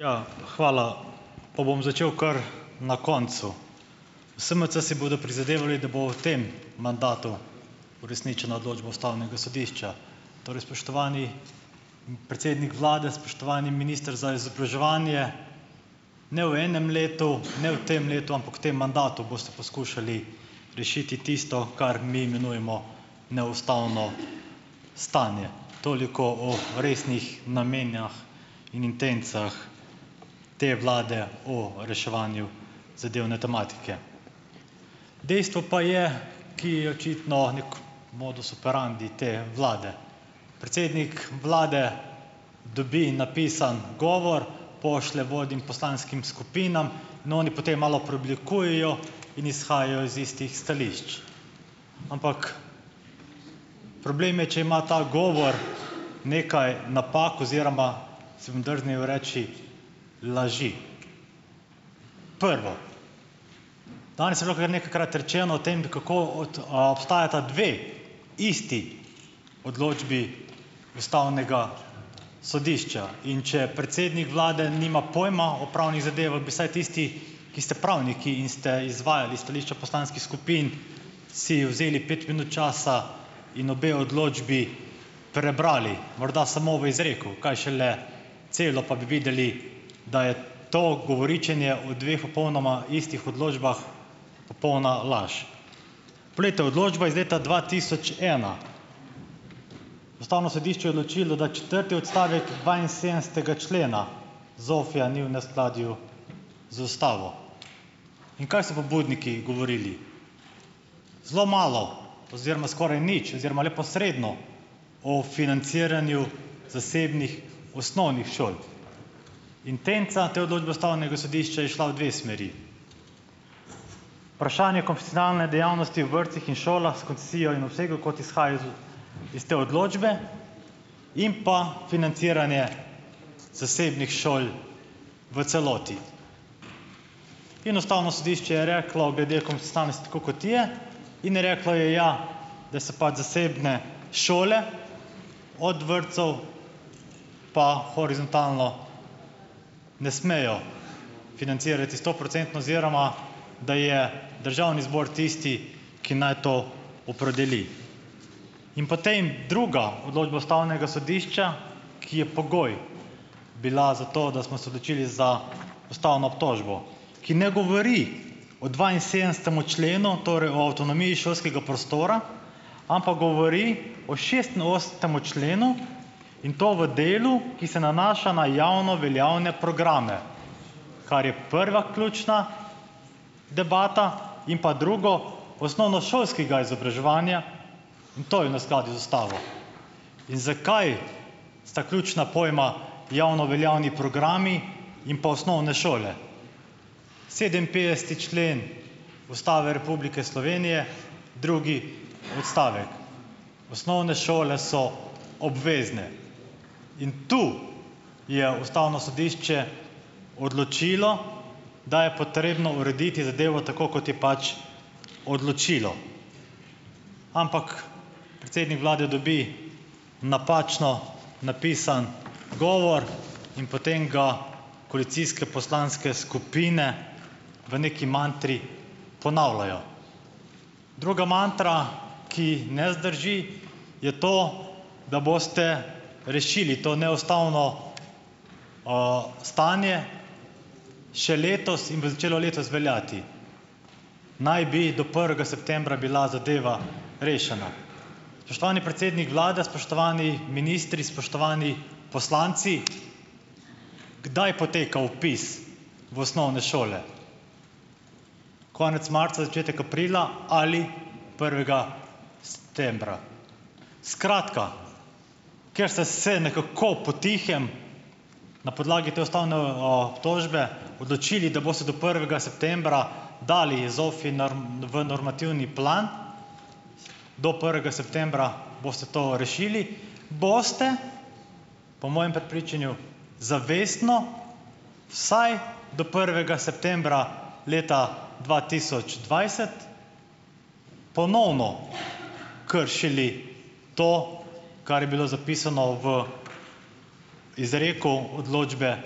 Ja, hvala. Pa bom začel kar na koncu. SMC si bodo prizadevali, da bo v tem mandatu uresničena odločba Ustavnega sodišča, torej, spoštovani predsednik vlade, spoštovani minister za izobraževanje - ne v enem letu, ne v tem letu, ampak v tem mandatu boste poskušali rešiti tisto, kar mi imenujemo neustavno stanje. Toliko o resnih namenih in intencah te vlade o reševanju zadevne tematike. Dejstvo pa je - ki je očitno nek modus operandi te vlade - predsednik vlade dobi napisan govor, pošlje vodjem poslanskim skupinam, in oni potem malo preoblikujejo in izhajajo iz istih stališč. Ampak, problem je, če ima ta govor nekaj napak oziroma, si bom drznil reči, laži. Prvo, Danes je bilo kra nekajkrat rečeno o tem, da kako obstajata dve isti odločbi Ustavnega sodišča, in če predsednik vlade nima pojma o pravnih zadevah, bi vsaj tisti, ki ste pravniki in ste izvajali stališča poslanskih skupin, si vzeli pet minut časa in obe odločbi prebrali, morda samo v izreku, kaj šele celo, pa bi videli, da je to govoričenje o dveh popolnoma istih odločbah popolna laž. Poglejte, odločba iz leta dva tisoč ena. Ustavno sodišče je odločilo, da četrti odstavek dvainsedemdesetega člena ZOFI-ja ni v neskladju z Ustavo, in kaj so pobudniki govorili? Zelo malo oziroma skoraj nič oziroma neposredno o financiranju zasebnih osnovnih šol. Intenca te odločbe Ustavnega sodišča je šla v dve smeri. Vprašanje konfesionalne dejavnosti v vrtcih in šolah s koncesijo in obsegu, kot izhaja iz iz te odločbe in pa financiranje zasebnih šol v celoti. In Ustavno sodišče je reklo glede konfesionalnosti tako, kot je, in je reklo je, ja, da se pač zasebne šole od vrtcev pa horizontalno ne smejo financirati stoprocentno oziroma da je Državni zbor tisti, ki naj to opredeli. In potem druga odločba Ustavnega sodišča, ki je pogoj bila za to, da smo se odločili za Ustavno obtožbo, ki ne govori o dvainsedemdesetem členu, torej o avtonomiji šolskega prostora, ampak govori o šestinosemdesetem členu, in to v delu, ki se nanaša na javno veljavne programe, kar je prva ključna debata in pa drugo - osnovnošolskega izobraževanja, in to je v neskladju z ustavo. In zakaj sta ključna pojma javnoveljavni programi in pa osnovne šole? Sedeminpetdeseti člen Ustave Republike Slovenije, drugi odstavek. Osnovne šole so obvezne in tu je ustavno sodišče odločilo, da je potrebno urediti zadevo tako, kot je pač odločilo, ampak predsednik vlade dobi napačno napisan govor in potem ga koalicijske poslanske skupine v neki mantri ponavljajo. Druga matra, ki ne zdrži, je to, da boste rešili to neustavno stanje še letos in bo začelo letos veljati. Naj bi do prvega septembra bila zadeva rešena. Spoštovani predsednik vlade, spoštovani ministri, spoštovani poslanci, kdaj je potekal vpis v osnovne šole? Konec marca, začetek aprila ali prvega septembra? Skratka, ker ste se nekako po tihem na podlagi te ustavne obtožbe odločili, da boste do prvega septembra dali ZOFI v normativni plan, do prvega septembra boste to rešili, boste po mojem prepričanju zavestno vsaj do prvega septembra leta dva tisoč dvajset ponovno kršili to, kar je bilo zapisano v izreku odločbe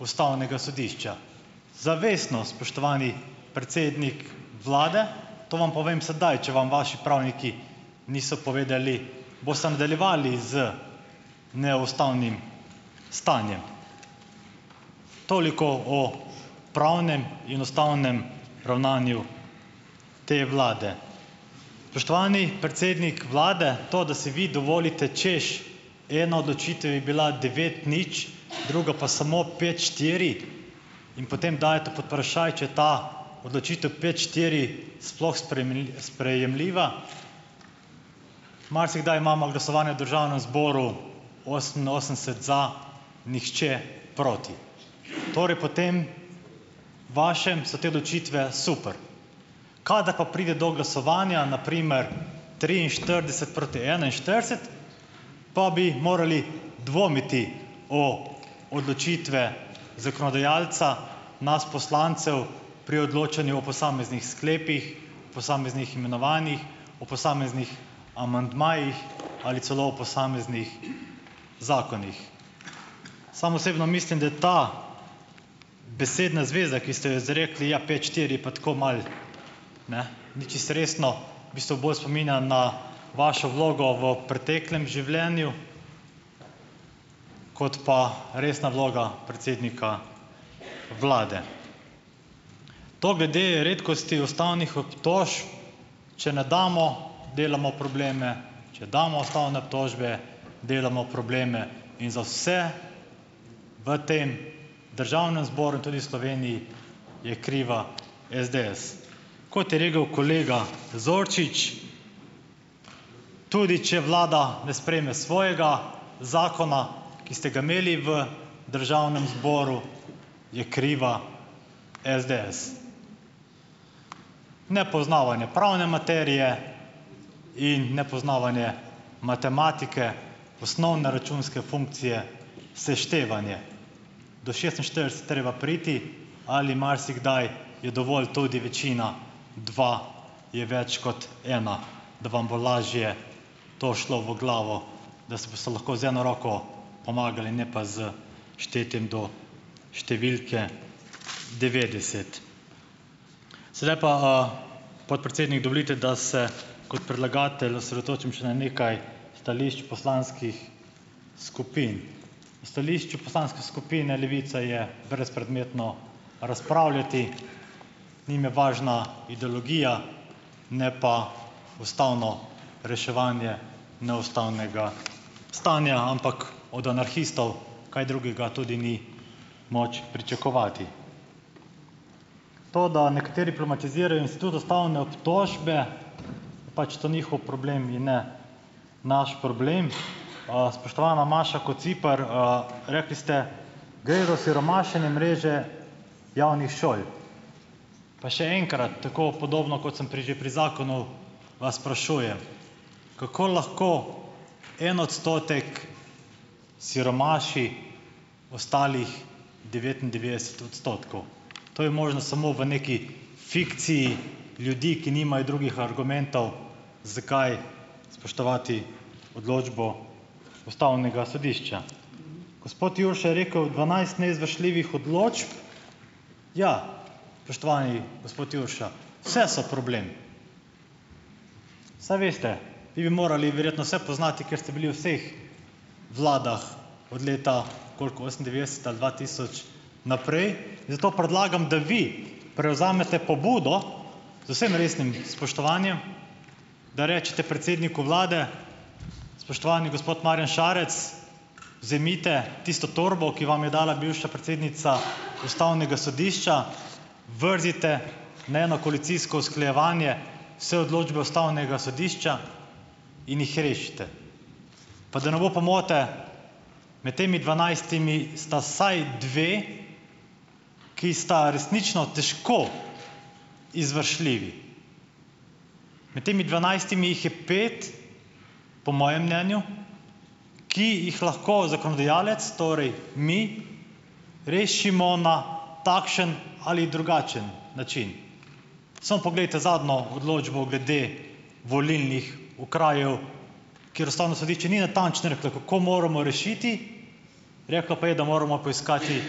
ustavnega sodišča. Zavestno, spoštovani predsednik vlade, to vam povem sedaj, če vam vaši pravniki niso povedali, boste nadaljevali z neustavnim stanjem. Toliko o pravnem in ustavnem ravnanju te vlade. Spoštovani predsednik vlade, to, da si vi dovolite: češ, ena odločitev je bila devet nič, druga pa samo pet štiri, in potem dajete pod vprašaj, če je ta odločitev pet štiri sploh sprejemljiva. Marsikdaj imamo glasovanje v Državnem zboru, oseminosemdeset za, nihče proti. Torej po tem vašem so te odločitve super, kadar pa pride do glasovanja, na primer triinštirideset proti enainštirideset, pa bi morali dvomiti v odločitve zakonodajalca, nas poslancev, pri odločanju o posameznih sklepih, posameznih imenovanjih, o posameznih amandmajih ali celo o posameznih zakonih. Sam osebno mislim, da je ta besedna zveza, ki ste jo izrekli: ja, pet štiri pa tako malo, ne, ni čisto resno, v bistvu bolj spominja na vašo vlogo v preteklem življenju kot pa resna vloga predsednika vlade. To glede redkosti ustavnih obtožb, če ne damo, delamo probleme, če damo ustavne obtožbe, delamo probleme in za vse v tem Državnem zboru in tudi v Sloveniji je kriva SDS. Kot je rekel kolega Zorčič, tudi če vlada ne sprejme svojega zakona, ki ste ga imeli v Državnem zboru, je kriva SDS. Nepoznavanje pravne materije in nepoznavanje matematike, osnovne računske funkcije seštevanje - do šestinštirideset treba priti ali marsikdaj je dovolj tudi večina dva je več kot ena, da vam bo lažje to šlo v glavo, da si boste lahko z eno roko pomagali, ne pa s štetjem do številke devetdeset. Sedaj pa, podpredsednik, dovolite, da se kot predlagatelj osredotočim še na nekaj stališč poslanskih skupin. Stališču Poslanske skupine Levice je brezpredmetno razpravljati. Njim je važna ideologija, ne pa ustavno reševanje neustavnega stanja, ampak od anarhistov kaj drugega tudi ni moč pričakovati. To, da nekateri problematizirajo in s tudi ustavne obtožbe, pač to njihov problem in ne naš problem. Spoštovana Maša Kociper, rekli ste, gre za siromašenje mreže javnih šol. Pa še enkrat, tako podobno, kot sem pri že pri zakonu, vas sprašujem, kako lahko en odstotek siromaši ostalih devetindevetdeset odstotkov, to je možno samo v neki fikciji ljudi, ki nimajo drugih argumentov, zakaj spoštovati odločbo Ustavnega sodišča. Gospod Jurša je rekel, dvanajst neizvršljivih odločb - ja, spoštovani gospod Jurša, vse so problem, saj veste, vi bi morali verjetno vse poznati, ker ste bili v vseh vladah od leta koliko osemindevetdeset ali dva tisoč naprej. Zato predlagam, da vi prevzamete pobudo, z vsem resnim spoštovanjem, da rečete predsedniku vlade, spoštovani gospod Marjan Šarec, vzemite tisto torbo, ki vam jo dala bivša predsednica Ustavnega sodišča, vrzite ne na koalicijsko usklajevanje vse odločbe Ustavnega sodišča in jih rešite. Pa da ne bo pomote, med temi dvanajstimi sta vsaj dve, ki sta resnično težko izvršljivi. Med temi dvanajstimi jih je pet, po mojem mnenju, ki jih lahko zakonodajalec, torej mi, rešimo na takšen ali drugačen način. Samo poglejte zadnjo odločbo glede volilnih okrajev, kjer Ustavno sodišče ni natančno reklo, kako moramo rešiti, reklo pa je, da moramo poiskati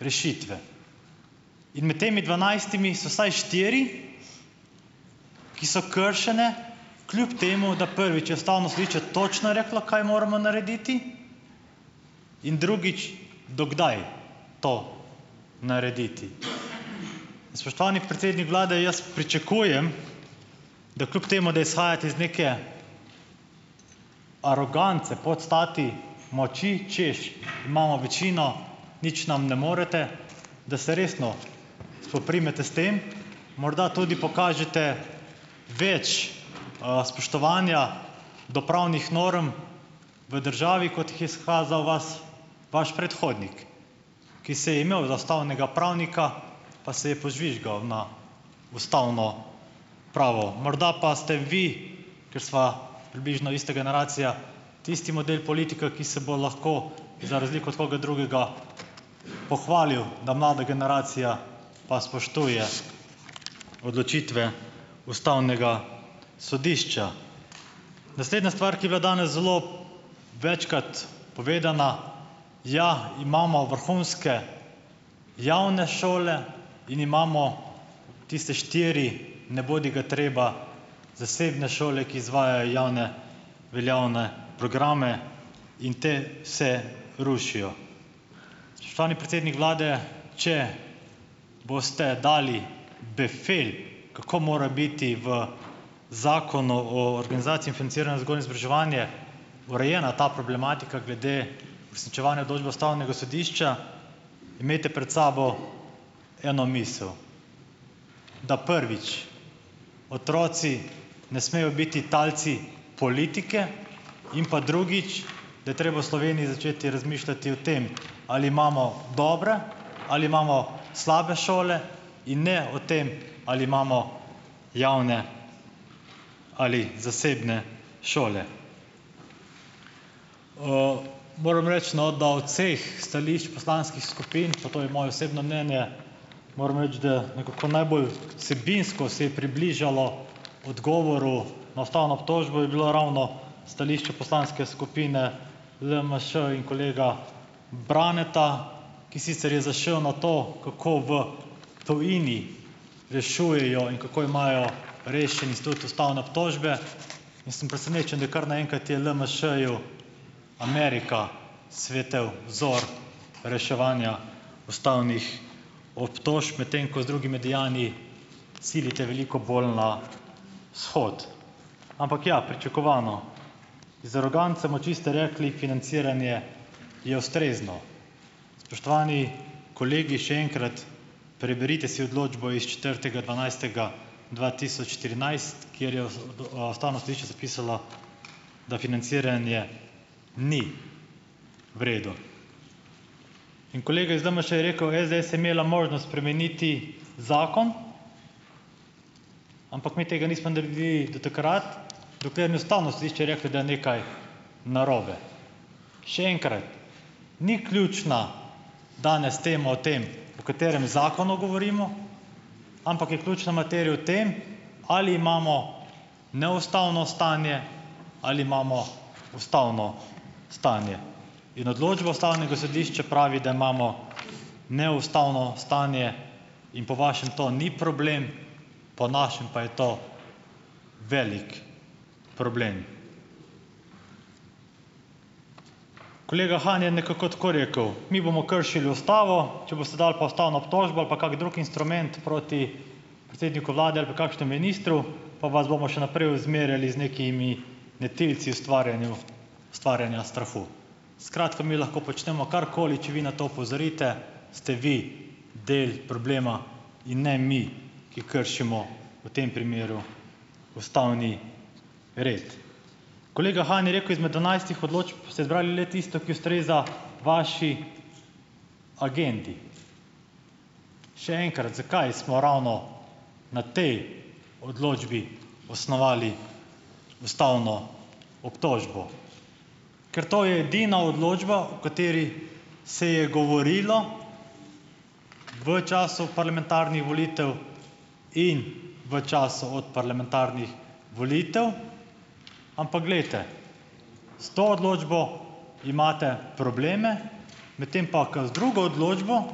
rešitve. In med temi dvanajstimi so vsaj štiri, ki so kršene, kljub temu da, prvič, je Ustavno sodišče točno reklo, kaj moramo narediti, in drugič, do kdaj to narediti. Spoštovani predsednik vlade, jaz pričakujem, da kljub temu da izhajate iz neke arogance, podstati moči, hočeš, imamo večino, nič nam ne morete, da se resno spoprimete s tem, morda tudi pokažete več spoštovanja do pravnih norm v državi, kot jih je izkazal vas vaš predhodnik, ki se je imel za ustavnega pravnika, pa se je požvižgal na ustavno pravo. Morda pa ste vi, ker sva približno ista generacija, tisti model politika, ki se bo lahko za razliko od koga drugega pohvalil, da mlada generacija pa spoštuje odločitve Ustavnega sodišča. Naslednja stvar, ki je bila danes zelo večkrat povedana - ja, imamo vrhunske javne šole in imamo tiste štiri nebodigatreba zasebne šole, ki izvajajo javne veljavne programe, in potem se rušijo. Spoštovani predsednik vlade, če boste dali befel, kako mora biti v Zakonu o organizaciji in financiranju vzgoje in izobraževanja urejena ta problematika glede uresničevanja odločbe Ustavnega sodišča, imejte pred sabo eno misel: da, prvič, otroci ne smejo biti talci politike, in pa, drugič, da je treba v Sloveniji začeti razmišljati o tem, ali imamo dobre ali imamo slabe šole, in ne o tem, ali imamo javne ali zasebne šole. Moram reči, no, da od vseh stališč poslanskih skupin - pa to je moje osebno mnenje - moram reči, da nekako najbolj vsebinsko se je približalo odgovoru na ustavno obtožbo, je bilo ravno stališče Poslanske skupine LMŠ in kolega Braneta, ki sicer je zašel na to, kako v tujini rešujejo in kako imajo rešen institut ustavne obtožbe. In sem presenečen, da je kar naenkrat je LMŠ-ju Amerika svetel vzor reševanja ustavnih obtožb, medtem ko z drugimi dejanji silite veliko bolj na vzhod. Ampak, ja, pričakovano, z aroganco moči ste rekli, financiranje je ustrezno. Spoštovani kolegi, še enkrat, preberite si odločbo s četrtega dvanajstega dva tisoč trinajst, kjer je z d o Ustavno sodišče zapisalo, da financiranje ni v redu. In kolega iz LMŠ je rekel: "SDS je imela možnost spremeniti zakon, ampak mi tega nismo naredili do takrat, dokler ni Ustavno sodišče reklo, da je nekaj narobe." Še enkrat: Ni ključna danes tema o tem, o katerem zakonu govorimo, ampak je ključna materija o tem, ali imamo neustavno stanje, ali imamo ustavno stanje. In odločba Ustavnega sodišča pravi, da imamo neustavno stanje, in po vašem to ni problem, po našem pa je to velik problem. Kolega Han je nekako tako rekel: "Mi bomo kršili Ustavo, če boste dali pa ustavno obtožbo ali pa kak drug instrument proti predsedniku vlade ali pa kakšnemu ministru, pa vas bomo še naprej ozmerjali z nekimi netilci ustvarjanju ustvarjanja strahu." Skratka, mi lahko počnemo karkoli, če vi na to opozorite, ste vi del problema in ne mi, ki kršimo v tem primeru ustavni red. Kolega Han je rekel: "Izmed dvanajstih odločb ste izbrali le tisto, ki ustreza vaši agendi." Še enkrat, zakaj smo ravno na tej odločbi osnovali ustavno obtožbo; ker to je edina odločba, o kateri se je govorilo v času parlamentarnih volitev in v času od parlamentarnih volitev. Ampak glejte, s to odločbo imate probleme, medtem pa k z drugo odločbo,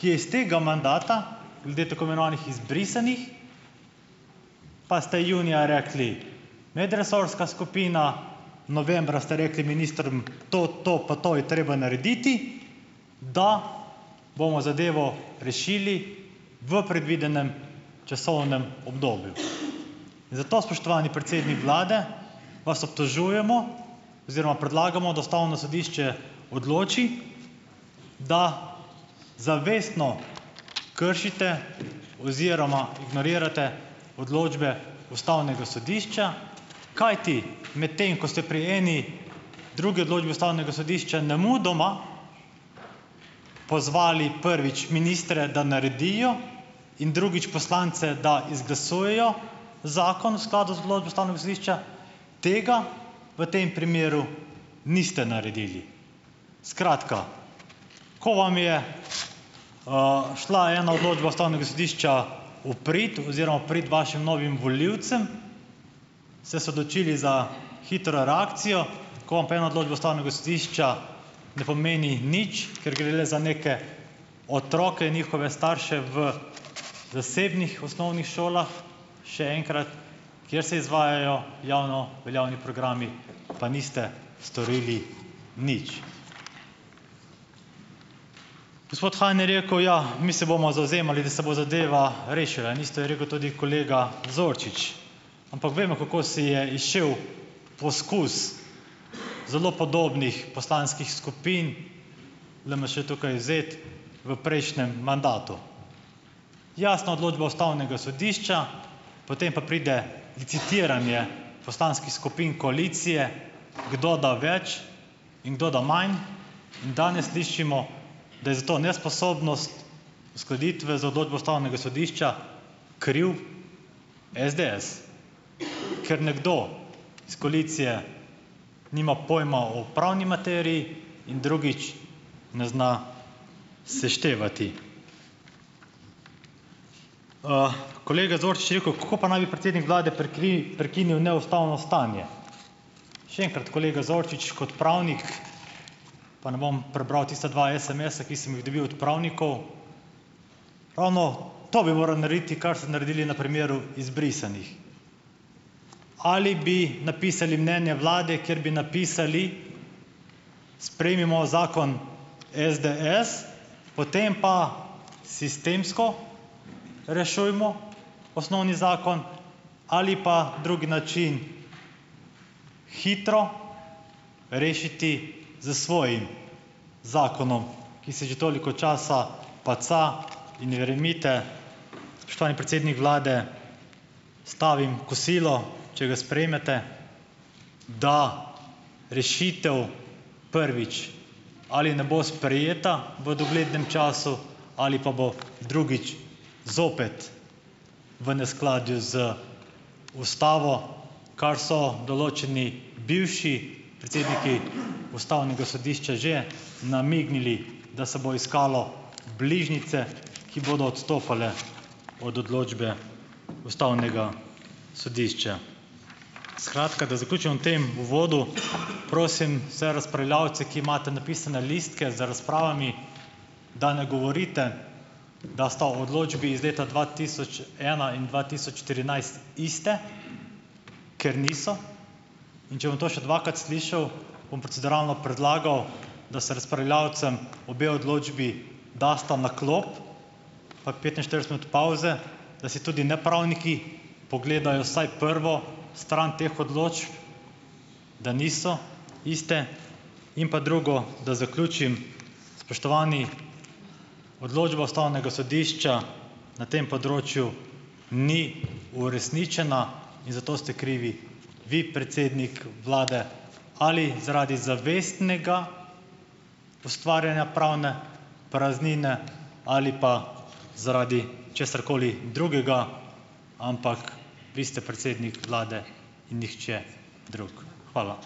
ki je iz tega mandata glede tako imenovanih izbrisanih, pa ste junija rekli medresorska skupina, novembra ste rekli ministrom to, to pa, to je treba narediti, da bomo zadevo rešili v predvidenem časovnem obdobju. Zato, spoštovani predsednik vlade, vas obtožujemo oziroma predlagamo, da Ustavno sodišče odloči, da zavestno kršite oziroma ignorirate odločbe Ustavnega sodišča, kajti medtem ko ste pri eni drugi odločbi Ustavnega sodišča nemudoma pozvali prvič ministre, da naredijo in drugič poslance, da izglasujejo zakon v skladu z odločbo Ustavnega sodišča, tega v tem primeru niste naredili. Skratka, ko vam je šla ena odločba Ustavnega sodišča v prid oziroma v prič vašim novim volivcem, ste se odločili za hitro reakcijo, ko vam pa ena odločba Ustavnega sodišča ne pomeni nič, ker gre le za neke otroke, njihove starše v zasebnih osnovnih šolah, še enkrat, kjer se izvajajo javno veljavni programi, pa niste storili nič. Gospod Han je rekel: "Ja, mi se bomo zavzemali, da se bo zadeva rešila." Niste rekel tudi kolega Zorčič, ampak vemo, kako se je izšel poskus zelo podobnih poslanskih skupin, LMŠ tukaj izvzet, v prejšnjem mandatu. Jasna odločba Ustavnega sodišča, potem pa pride licitiranje poslanskih skupin koalicije, kdo da več in kdo da manj, in danes slišimo, da je za to nesposobnost uskladitve za odločbo Ustavnega sodišča kriv SDS, ker nekdo s koalicije nima pojma o pravni materiji in drugič ne zna seštevati. Kolega Zorčič je rekel: "Kako pa naj bi predsednik vlade prekinil neustavno stanje?" Še enkrat kolega Zorčič, kot pravnik, pa ne bom prebral tista dva sms-a, ki sem jih dobil od pravnikov, ravno to bi moral narediti, kar ste naredili na primeru izbrisanih. Ali bi napisali mnenje vlade, kjer bi napisali: "Sprejmimo zakon SDS, potem pa sistemsko rešujmo osnovni zakon." Ali pa drugi način hitro rešiti s svojim zakonom, ki se že toliko časa paca, in verjemite, spoštovani predsednik vlade, stavim kosilo, če ga sprejmete, da rešitev, prvič, ali ne bo sprejeta v doglednem času ali pa bo, drugič, zopet v neskladju z ustavo, kar so določeni bivši predsedniki Ustavnega sodišča že namignili, da se bo iskalo bližnjice, ki bodo odstopale od odločbe Ustavnega sodišča. Skratka, da zaključim v tem uvodu, prosim vse razpravljavce, ki imate napisane listke z razpravami, da ne govorite, da sta odločbi iz leta dva tisoč ena in dva tisoč štirinajst isti, ker niso. In če bom to še dvakrat slišal, bom proceduralno predlagal, da se razpravljavcem obe odločbi dasta na klop pa petinštirideset minut pavze, da si tudi nepravniki pogledajo vsaj prvo stran teh odločb, da niso iste. In pa drugo, da zaključim, spoštovani, odločba Ustavnega sodišča na tem področju ni uresničena in za to ste krivi vi, predsednik vlade, ali zaradi zavestnega ustvarjanja pravne praznine ali pa zaradi česarkoli drugega, ampak vi ste predsednik Vlade in nihče drug. Hvala.